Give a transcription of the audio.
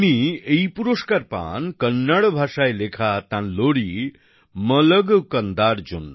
তিনি এই পুরস্কার পান কন্নড় ভাষায় লেখা তাঁর লোরি মালগু কন্দার জন্য